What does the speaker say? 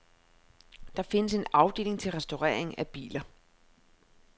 Der findes en afdeling til restaurering af biler.